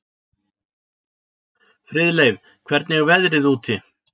Friðleif, hvernig er veðrið úti?